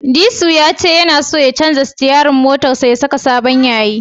Disu ya ce tana so ya canja sitiyarin motarsa ya saka sabon yayi.